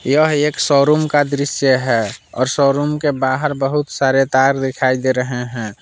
यह एक शोरूम का दृश्य है और शोरूम के बाहर बहुत सारे तार दिखाई दे रहे हैं।